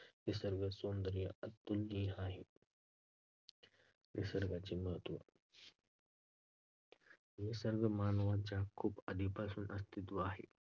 निसर्ग सौंदर्य अतुलनीय आहे. निसर्गाचे महत्त्व. निसर्ग मानवाच्या खूप आधीपासून अस्तित्वात आहे